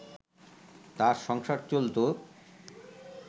তার সংসার চলতো